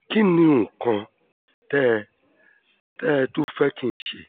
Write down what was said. kí ni nǹkan tẹ́ tẹ́ ẹ tún fẹ́ kí n ṣe